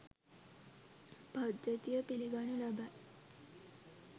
පද්ධතිය පිළිගනු ලබයි.